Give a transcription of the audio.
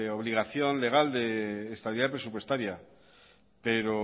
obligación legal de estabilidad presupuestaria pero